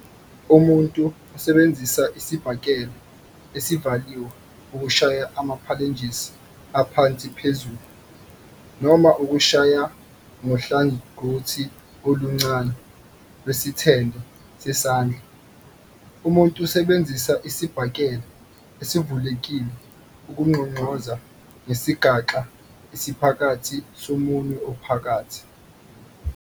Umuntu usebenzisa isibhakela esivaliwe ukushaya ama-phalanges aphansi phezulu, noma ukushaya ngohlangothi oluncane lwesithende sesandla, umuntu usebenzisa isibhakela esivulekile ukungqongqoza ngesigaxa esiphakathi somunwe ophakathi.